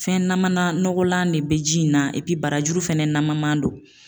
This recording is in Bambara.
Fɛn namana nɔgɔlan de be ji in na epi barajuru fɛnɛ naman man don